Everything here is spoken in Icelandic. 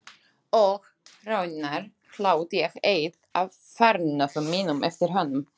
Og raunar hlaut ég eitt af fornöfnum mínum eftir honum.